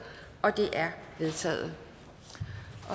det er vedtaget